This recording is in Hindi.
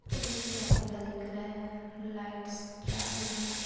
और एक कैमरा दिख रहा है लाइटस चालू है।